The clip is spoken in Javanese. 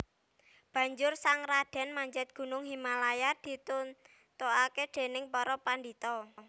Banjur sang radèn manjat gunung Himalaya ditutaké dèning para pandhita